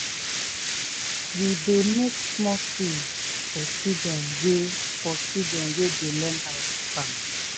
we dey make small tools for children wey for children wey dey learn how to farm.